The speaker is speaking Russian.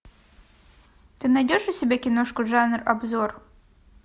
ты найдешь у себя киношку жанр обзор